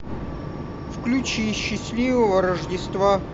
включи счастливого рождества